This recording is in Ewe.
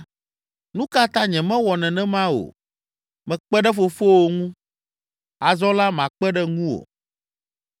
Nu ka ta nyemawɔ nenema o? Mekpe ɖe fofowò ŋu. Azɔ la, makpe ɖe ŋuwò.”